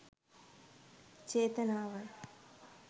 චේතනාවයි.